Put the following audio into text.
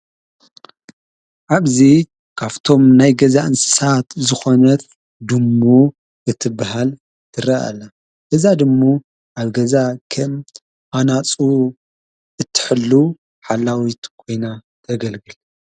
ዓብዙ ካፍቶም ናይ ገዛ እንስሳት ዝኾነት ድሙ እትብሃል ትረአለ እዛ ድሙ ኣገዛ ኸም ኣናጹ እትሕሉ ሓላዊት ጐይና ተገልግል።